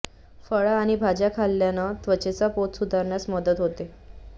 फळं आणि भाज्या खाल्ल्यानं त्वचेचा पोत सुधारण्यास मदत होते